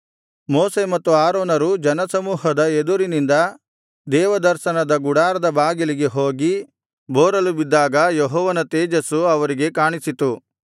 ಮೋಶೆ ಮತ್ತು ಆರೋನರು ಜನಸಮೂಹದ ಎದುರಿನಿಂದ ದೇವದರ್ಶನದ ಗುಡಾರದ ಬಾಗಿಲಿಗೆ ಹೋಗಿ ಬೋರಲುಬಿದ್ದಾಗ ಯೆಹೋವನ ತೇಜಸ್ಸು ಅವರಿಗೆ ಕಾಣಿಸಿತು